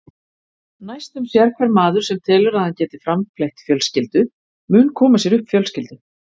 Næstum sérhver maður, sem telur að hann geti framfleytt fjölskyldu, mun koma sér upp fjölskyldu.